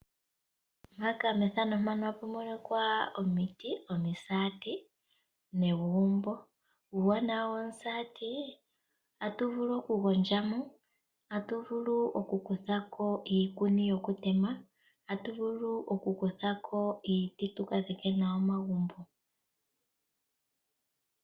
Omuti dhomisati odhina uuwana owundji ngaashi ohadhi gandja omizile kaantu opo yagondjemo. Komisaati oko haku kuthwa iiti yokudhika nenge iikuni mboka hayi longithwa okutema pelugo.